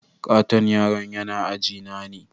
Katton yaron yana ajina ne.